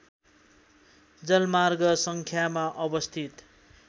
जलमार्ग सङ्ख्यामा अवस्थित